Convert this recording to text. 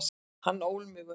Hann ól mig upp.